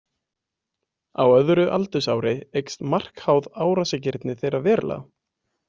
Á öðru aldursári eykst markháð árásargirni þeirra verulega.